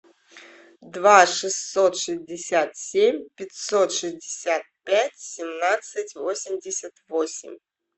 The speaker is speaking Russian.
два шестьсот шестьдесят семь пятьсот шестьдесят пять семнадцать восемьдесят восемь